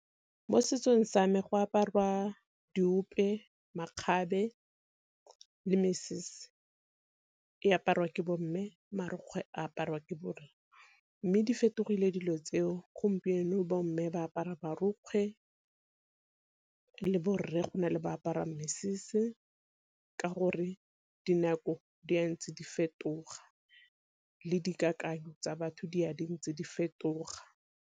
Mo setsong sa me go aparwa diope, makgabe le mesese e aparwa ke bo mme. Marukgwe a aparwa ke Bo rare, mme di fetogile dilo tseo gompieno bo mme ba apara marokgwe le borre gona le ba apara mesese, ka gore dinako di ntse di fetoga le dikakanyo tsa batho di a di ntse di fetoga.